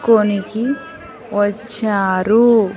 కొనికి వచ్చారు.